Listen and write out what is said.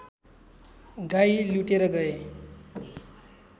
गाई लुटेर गए